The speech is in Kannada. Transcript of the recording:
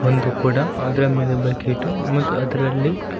ಒಂದು ಕೊಡ ಅದ್ರ ಮೇಲೆ ಬಕೀಟು ಮತ್ತು ಅದ್ರಲ್ಲಿ--